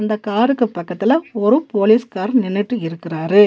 இந்த காருக்கு பக்கத்துல ஒரு போலீஸ்கார் நின்னுட்டு இருக்குறாரு.